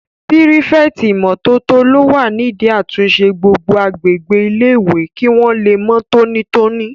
Pírífẹ̀tì ìmótótó ló wà nídi àtúnṣe gbogbo agbègbè ilé-ìwé kí wọ́n lè mọ́ tóní tóní